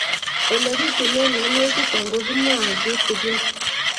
Ole pitune mionwek chutok ko kimwau kitig'ín